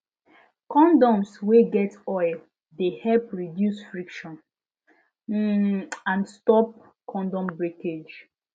condoms wey get oil de help reduce friction um and stop condom breakage